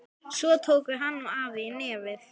Svo tóku hann og afi í nefið.